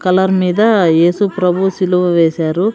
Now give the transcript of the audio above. Colour మీద ఏసు ప్రభువు సిలువ వేశారు.